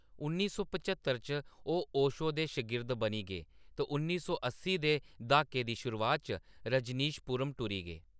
उन्नी सौ पच्हत्तर च, ओह्‌‌ ओशो दे शगिर्द बनी गे ते उन्नी सौ अस्सी दे द्हाके दी शुरुआत च, रजनीशपुरम टुरी गे।